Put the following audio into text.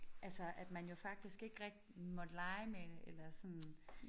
Altså at man jo faktisk ikke rigtig måtte lege med det eller sådan